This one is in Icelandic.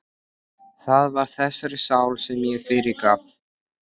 Það var þessari sál sem ég fyrirgaf.